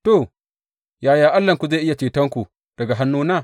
To, yaya Allahnku zai iya cetonku daga hannuna?